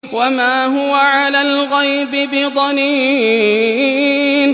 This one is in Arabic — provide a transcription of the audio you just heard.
وَمَا هُوَ عَلَى الْغَيْبِ بِضَنِينٍ